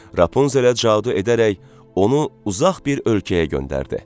Rapunzelə cadu edərək onu uzaq bir ölkəyə göndərdi.